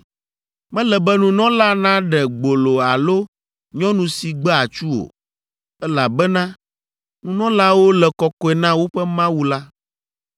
Mele be nunɔla naɖe gbolo alo nyɔnu si gbe atsu o, elabena nunɔlawo le kɔkɔe na woƒe Mawu la.